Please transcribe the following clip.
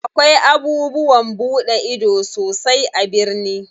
Akwai abubuwan buɗe ido sosai a birni.